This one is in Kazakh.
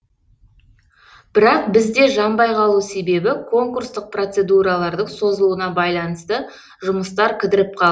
бірақ бізде жанбай қалу себебі конкурстық процедуралардың созылуына байланысты жұмыстар кідіріп қалды